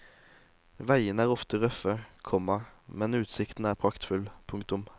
Veiene er ofte røffe, komma men utsikten er praktfull. punktum